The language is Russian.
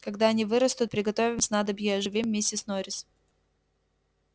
когда они вырастут приготовим снадобье и оживим миссис норрис